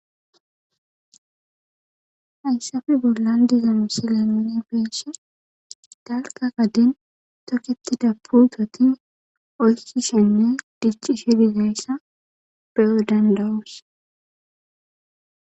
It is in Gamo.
Hayssafe bollan dizanu si lamene beeshe dalka qaden toketi dapu toti oyssishinne dichi shi dizayssa peyo dandawus.